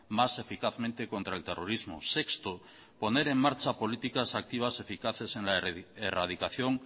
más eficazmente contra el terrorismo sexto poner en marcha políticas activas eficaces en la erradicación